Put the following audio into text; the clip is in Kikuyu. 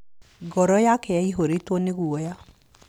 Ngoro yake yaihũrĩtwo nĩ guoya.